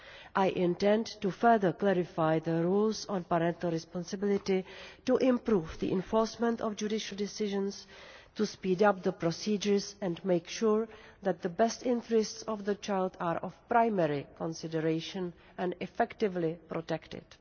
I intend to further clarify the rules on parental responsibility, to improve the enforcement of judicial decisions, to speed up the procedures and make sure that the best interests of the child are of primary consideration and effectively protected.